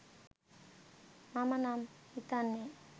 මම නම් හිතන්නෙ..